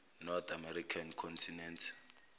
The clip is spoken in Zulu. north american continent